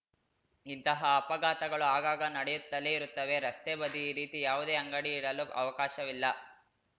ಇಂತಹ ಅಪಘಾತಗಳು ಆಗಾಗ ನಡೆಯುತ್ತಲೇ ಇರುತ್ತವೆ ರಸ್ತೆ ಬದಿ ಈ ರೀತಿ ಯಾವುದೇ ಅಂಗಡಿ ಇಡಲು ಅವಕಾಶವಿಲ್ಲ